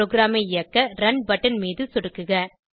ப்ரோகிராமை இயக்க run button மீது சொடுக்குக